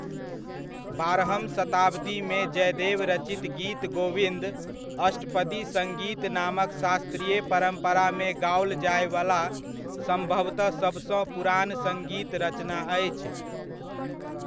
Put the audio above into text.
बारहम शताब्दीमे जयदेव रचित गीत गोविन्द अष्टपदी सङ्गीत नामक शास्त्रीय परम्परामे गाओल जायवला सम्भवतः सबसँ पुरान सङ्गीत रचना अछि।